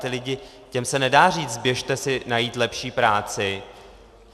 Ti lidé, těm se nedá říct: Běžte si najít lepší práci!